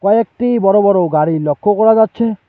একটি বড় বড় গাড়ি লক্ষ্য করা যাচ্ছে।